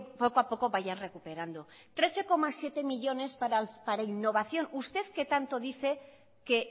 poco a poco vayan recuperando trece coma siete millónes para innovación usted que tanto dice que